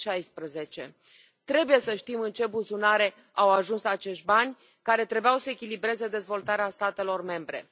2016. Trebuie să știm în ce buzunare au ajuns acești bani, care trebuiau să echilibreze dezvoltarea statelor membre.